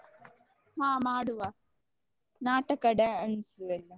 ಹ ಮಾಡುವ ನಾಟಕ dance ಎಲ್ಲ.